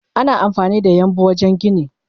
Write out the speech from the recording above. Ana amfanida yambu wajen gini.